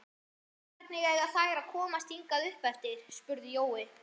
Hvernig eiga þær að komast hingað uppeftir? spurði Jói.